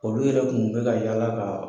Olu yɛrɛ kun bɛka ka yala ka.